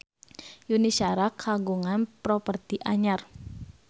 Yuni Shara kagungan properti anyar